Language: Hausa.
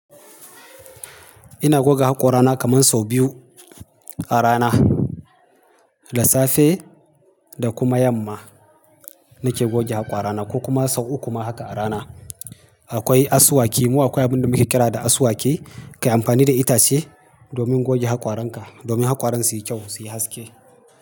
Ina goga haƙora na kaman sau biyu, a rana, da safe da kuma yamma, nake goge haƙwarana. Ko kuma sau uku ma haka a rana. Akwai asuwaki, mu akwai abin da muke kira da asuwaki. Kai amfani da itace, domin goge haƙwaranka, domin haƙwaran su yi kyau su yi haske,